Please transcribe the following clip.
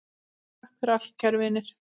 Takk fyrir allt, kæru vinir!